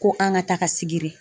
Ko an ka taga sigiri.